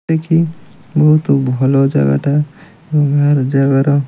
ଏ କି ବହୁତୁ ଭଲ ଜାଗା ଟା ଲୁହା ର ଜାଗର --